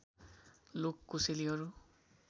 लोक कोसेलीहरू